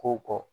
Kow kɔ